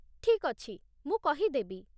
ଠିକ୍ ଅଛି, ମୁଁ କହିଦେବି ।